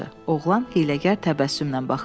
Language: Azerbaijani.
Oğlan hiyləgər təbəssümlə baxırdı.